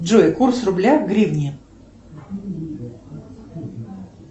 джой курс рубля к гривне